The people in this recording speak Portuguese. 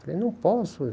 Falei, não posso.